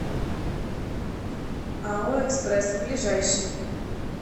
ао экспресс ближайший